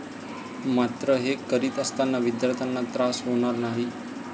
मात्र हे करीत असताना विद्यार्थ्यांना त्रास होणार नाही.